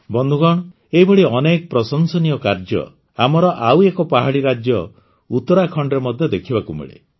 ବନ୍ଧୁଗଣ ଏହିଭଳି ଅନେକ ପ୍ରଶଂସନୀୟ କାର୍ଯ୍ୟ ଆମର ଆଉ ଏକ ପାହାଡ଼ୀ ରାଜ୍ୟ ଉତ୍ତରାଖଣ୍ଡରେ ମଧ୍ୟ ଦେଖିବାକୁ ମିଳେ